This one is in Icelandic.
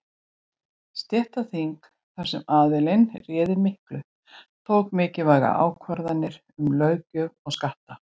Stéttaþing, þar sem aðallinn réði miklu, tóku mikilvægar ákvarðanir um löggjöf og skatta.